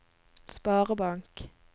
sparebank